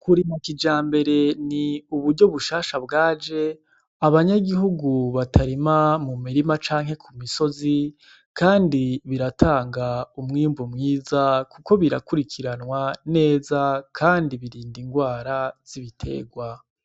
Kurima kijambere ni uburyo bushasha bwaje, abanyagihugu batarima mu mirima canke mu misozi, kandi baratanga umwimbu mwiza kuko birakurikiranwa neza kandi birinda ingwara z'ibiterwa.